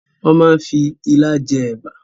Wọn máa ń fi ilá jẹ ẹ̀bà